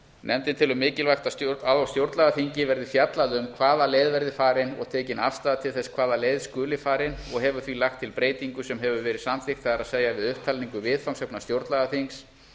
nefndin telur mikilvægt að á stjórnlagaþingi verði fjallað um hvaða leið verði farin og tekin afstaða til þess hvaða leið skuli farin og hefur því lagt til breytingu sem hefur verið samþykkt það er að við upptalningu viðfangsefna stjórnlagaþings